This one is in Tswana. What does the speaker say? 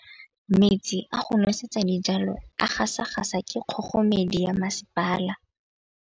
Metsi a go nosetsa dijalo a gasa gasa ke kgogomedi ya masepala.